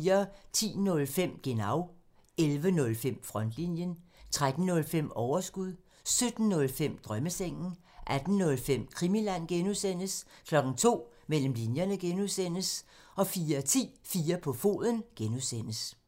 10:05: Genau (tir) 11:05: Frontlinjen (tir) 13:05: Overskud (tir) 17:05: Drømmesengen (tir) 18:05: Krimiland (G) (tir) 02:00: Mellem linjerne (G) (tir) 04:10: 4 på foden (G) (tir)